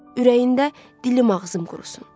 Ürəyində: "Dilim ağzım qurusun."